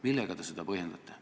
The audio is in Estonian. Millega te seda põhjendate?